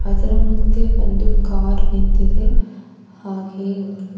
ಇದರ ಮುಂದೆ ಒಂದು ಕಾರ್ ನಿಂತಿದೆ ಹಾಗೆ--